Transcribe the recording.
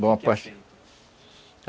Bom, o que é feito?